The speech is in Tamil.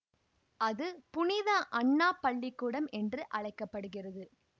அது புனித அன்னா பள்ளி கூடம் என்று அழைக்க படுகிறது